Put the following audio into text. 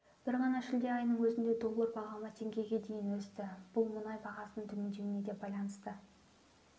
бір ғана шілде айының өзінде доллар бағамы теңгеге дейін өсті бұл мұнай бағасының төмендеуіне де байланысты